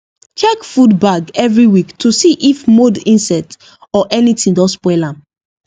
check food bag every week to see if mold insect or anything don spoil am